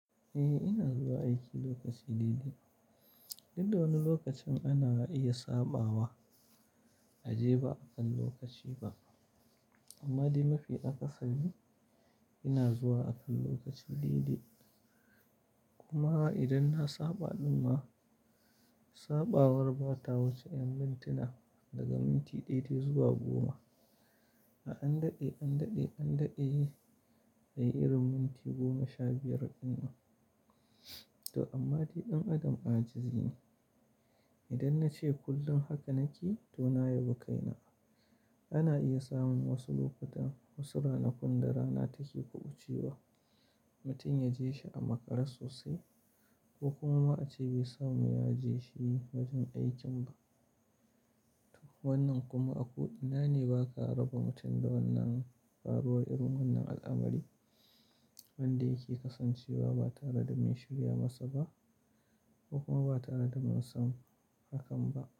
Eh ina zuwa aiki lokaci daidai. Duk da wani lokacin ana iya saɓawa, a je ba akan lokaci ba. Amma dai mafi akasari, ina zuwa akan lokaci daidai. Kuma idan na saɓa ɗumma, saɓawar ba ta wuce ƴan mintuna, daga minti ɗaya dai zuwa goma. A an daɗe, an daɗe, an daɗe, yayi irin minti goma sha biyar ɗin ma. To amma dai ɗan adam ajizi ne. Idan nace kullum haka nake, to na yabi kaina. Ana iya samun wasu lokutan, wasu rana kun da rana take kuɓuce wa, mutum ya je shi a makare sosai, ko kuma ma ace bai samu ya je shi wajen aikin ba. Wannan kuma a ko ina ne ba ka raba mutum da wannan faruwar irin wannan al'amarin, wanda yake kasancewa ba tare da mai shirya masa ba, kuma ba tare da mun san hakan ba.